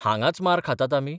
हांगांच मार खातात आमी?